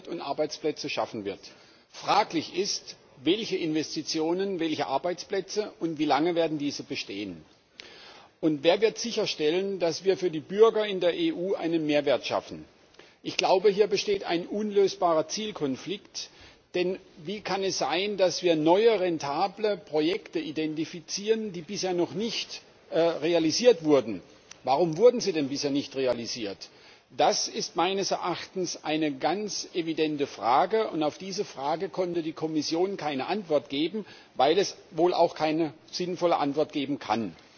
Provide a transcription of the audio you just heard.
Herr Präsident! Es ist unstrittig, dass die EU mit dem EFSI Investitionen auslösen und Arbeitsplätze schaffen wird. Fraglich ist, welche Investitionen, welche Arbeitsplätze, und wie lange diese bestehen werden. Wer wird sicherstellen, dass wir für die Bürger in der EU einen Mehrwert schaffen? Hier besteht ein unlösbarer Zielkonflikt. Denn wie kann es sein, dass wir neue, rentable Projekte identifizieren, die bisher noch nicht realisiert wurden? Warum wurden sie denn bisher nicht realisiert? Das ist meines Erachtens eine ganz evidente Frage, und auf diese Frage konnte die Kommission keine Antwort geben, weil es wohl auch keine sinnvolle Antwort geben